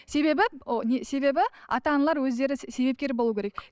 себебі ы себебі ата аналар өздері себепкер болуы керек